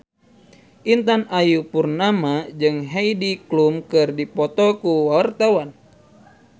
Intan Ayu Purnama jeung Heidi Klum keur dipoto ku wartawan